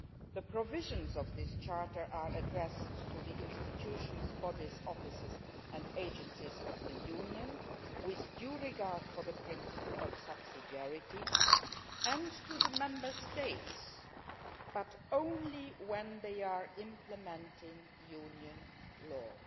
The provisions of this charter are addressed to the institutions, bodies, offices and agencies of the Union with due regard for the principle of subsidiarity and to the Member States', but only when they are implementing Union law'.